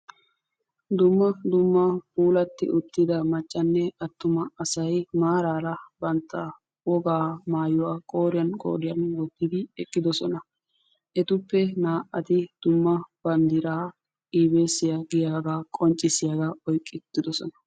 Dumma dumma puulaa macanne atuma asatti issippe de'osonna. Ha asattu matan darobbay de'ees.